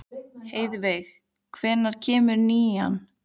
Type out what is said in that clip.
Heiðveig, hvenær kemur nían?